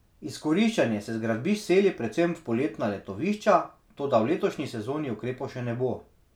Izkoriščanje se z gradbišč seli predvsem v poletna letovišča, toda v letošnji sezoni ukrepov še ne bo.